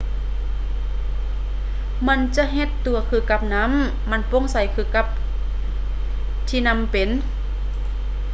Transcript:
ມັນຈະເຮັດຕົວຄືກັບນໍ້າ ມັນໂປ່ງໃສຄືກັບທີ່ນໍ້າເປັນ